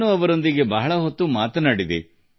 ನಾನು ಕೂಡ ಅವರ ಜೊತೆ ತುಂಬಾ ಹೊತ್ತು ಮಾತನಾಡಿದೆ